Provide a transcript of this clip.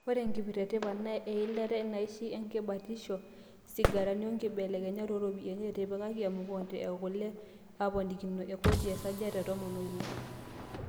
Ore enkipirta e tipat naa eilata, inaishi, enkibatisha, isigarani o nkibelekeny ooropiyiani, etipikaki emukate okule eponakinoto e kodi esajati e tomon oile .